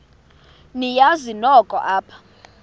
niyazi nonk apha